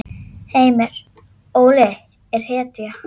Heimir: Óli er hetja?